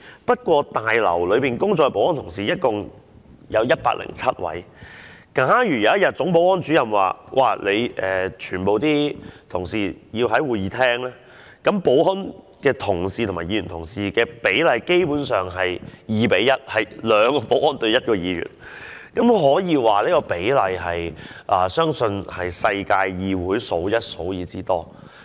不過，大樓內工作的保安同事一共有107位，假如有一天總保安主任說全部保安人員都要到會議廳，那麼保安人員與議員的比例便是 2：1， 這個比例相信是全世界議會中數一數二之多。